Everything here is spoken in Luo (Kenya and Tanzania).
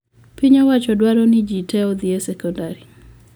piny owacho dwaro ne jii te odhii e sekondari